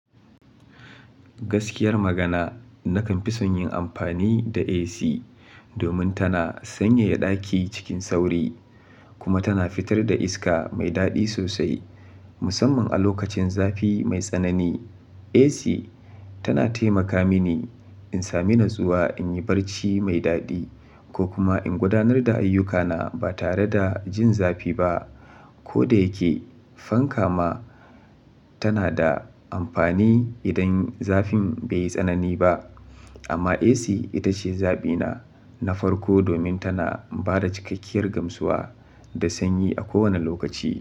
Gaskiyar magana, nakan fi son yin amfani da AC domin tana sanyaya ɗaki cikin sauri kuma tana fitar da iska mai daɗi sosai, musamman a lokacin zafi mai tsanani. AC tana taimaka mini in sami natsuwa, in yi barci mai daɗi ko kuma in gudanar da ayyukana ba tare da jin zafi ba. Ko da yake fanka ma tana da amfani idan zafin bai yi tsanani ba, amma AC ita ce zaɓina na farko domin tana ba da cikakkiyar gamsuwa da sanyi a kowane lokaci.